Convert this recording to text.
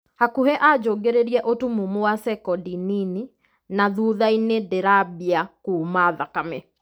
"Hakuhĩ anjũngĩrĩrie ũtumumu wa sekondi nini, na thuthainĩ ndĩrambia kuma thakame.